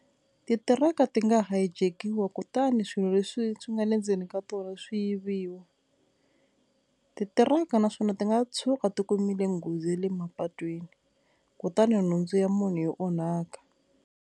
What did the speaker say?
Titiraka ti nga hijack-iwa kutani swilo leswi swi nga le ndzeni ka tona swi yiviwa, titiraka naswona ti nga tshuka ti kumile nghozi ya le mapatwini kutani nhundzu ya munhu yi onhaka.